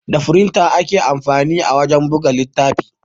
Da firinta ake amfani wajen buga littafi